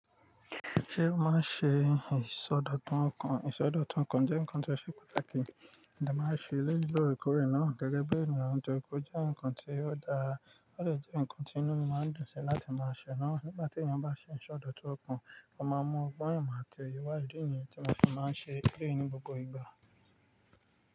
Ṣé ọ́ máa ń ṣe ìsọdọ̀tun ọkàn? Ìsọdọ̀tun ọkàn jẹ́ nǹkan tó ṣe pàtàkì, mo de máa ń ṣe eleyii loorekoore náà gẹ́gẹ́ bí ènìyàn nitori pe ó jẹ́ nǹkan tí ó dára, ó dè jẹ́ nǹkan tí inú mi máa ń dùn sí láti máa ṣe náà. Nígbà tí èeyan bá ṣe ìsọdọ̀tun ọkàn, ó máa n mu ogbon, imo àti oye wa ìdí niyen tí ó fi máa ń ṣe eleyii ní gbogbo ìgbà.